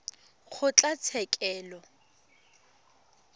kgotlatshekelo